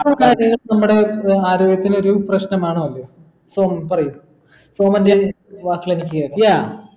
നമ്മടെ ഏർ ആരോഗ്യത്തിന് ഒരു പ്രേഷ്നമാണോ അത് സോമൻ പറയു സോമൻ്റെ ഹെ വാക്യ എനിക്കെക്യാ